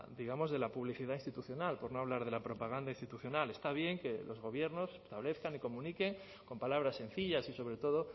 de la publicidad institucional por no hablar de la propaganda institucional está bien que los gobiernos establezcan y comuniquen con palabras sencillas y sobre todo